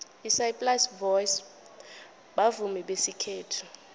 isaplasi boys bavumi besikhethu